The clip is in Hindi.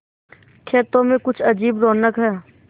खेतों में कुछ अजीब रौनक है